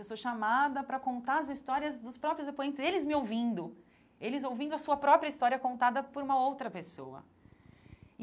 Eu sou chamada para contar as histórias dos próprios depoentes, eles me ouvindo, eles ouvindo a sua própria história contada por uma outra pessoa e.